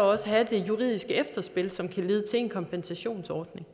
også et juridisk efterspil som kan lede til en kompensationsordning